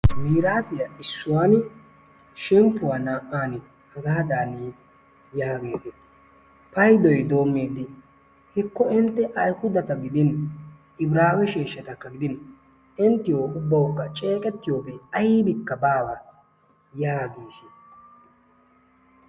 Miirafiya issuwan shemppuwaa na''aan hagaadan yaagees. Paydoy doomiidi hekko intte ayhudatti gidin Ibraawe sheeshshattakka gidin inttiyo ubbawukka ceeqettiyobay aybbikka baawa yaagees.